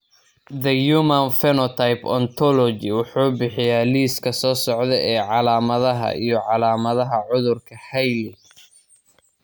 The Human Phenotype Ontology wuxuu bixiyaa liiska soo socda ee calaamadaha iyo calaamadaha cudurka Hailey Hailey.